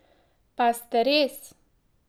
Pa sta res?